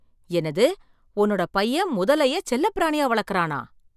என்னது, உன்னோட பையன் முதலைய செல்லப்பிராணியா வளக்கறானா!